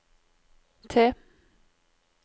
T